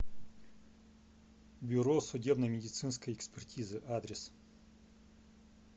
бюро судебно медицинской экспертизы адрес